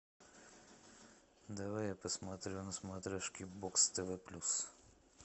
давай я посмотрю на смотрешке бокс тв плюс